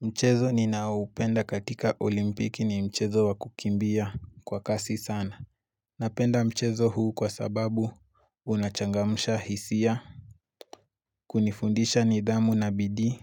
Mchezo ninao upenda katika olimpiki ni mchezo wakukimbia kwa kasi sana. Napenda mchezo huu kwa sababu unachangamsha hisia. Kunifundisha nidhamu na bidii